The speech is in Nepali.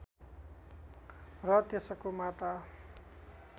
र त्यसको माता